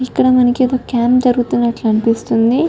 ఇక్కడ మనకి ఏదో కాంప్ జరుగుతున్నట్లు అనిపిస్తుంది.